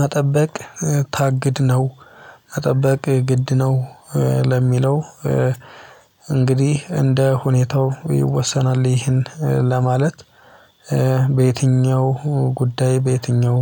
"መጠበቅ ታግድ ነው፣ መጠበቅ ግድ ነው?" ለሚለው እንግዲህ እንደ ሁኔታው ይወሰናል ይህን ለማለት፤ በየትኛው ጉዳይ በየትኛው